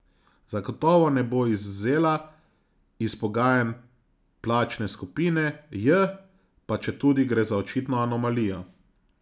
Zagotovo ne bo izvzela iz pogajanj plačne skupine J, pa četudi gre za očitno anomalijo.